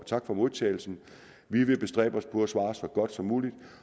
tak for modtagelsen vi vil bestræbe os på at svare så godt som muligt